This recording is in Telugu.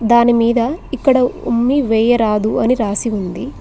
దాని మీద ఇక్కడ ఉమ్మి వేయరాదు అని రాసి ఉంది.